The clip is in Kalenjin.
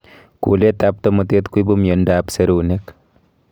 kuleet ab tomotet koibu miondo ab serunek